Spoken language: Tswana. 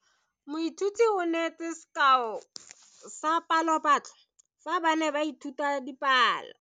Moithuti o neetse sekao sa palophatlo fa ba ne ba ithuta dipalo.